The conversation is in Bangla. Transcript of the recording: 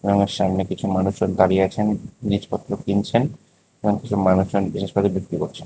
আমার সামনে কিছু মানুষের দাঁড়িয়ে আছেন জিনিসপত্র কিনছেন এবং কিছু মানুষজন জিনিসপত্র বিক্রি করছেন।